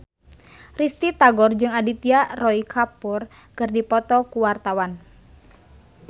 Risty Tagor jeung Aditya Roy Kapoor keur dipoto ku wartawan